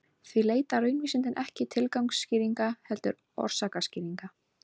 Því leita raunvísindin ekki tilgangsskýringa heldur orsakaskýringa.